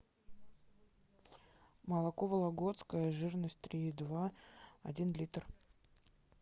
молоко вологодское жирность три и два один литр